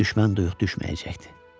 Düşmən duyuq düşməyəcəkdi.